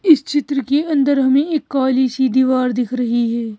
इस चित्र के अंदर हमें एक काली सी दीवार दिख रही है।